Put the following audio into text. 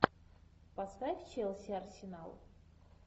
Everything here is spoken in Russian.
поставь челси арсенал